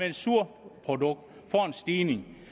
et surprodukt får en stigning